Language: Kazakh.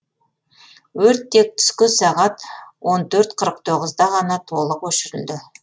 өрт тек түскі сағат он төрт қырық тоғызда ғана толық өшірілді